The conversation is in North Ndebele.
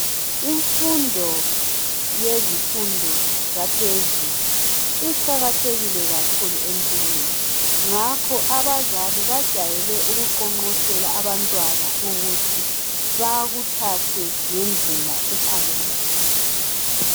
Imfundo yezifundo zaphezulu iqakathekile kakhulu empilweni, ngakho abazali bajale ukuqonqosela abantwana ukuthi bakuthathe ngendlela ephakemeyo.